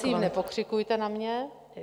Prosím, nepokřikujte na mě.